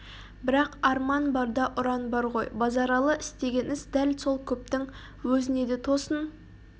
бірақ арман бар да ұран бар ғой базаралы істеген іс дәл сол көптің өзіне де тосын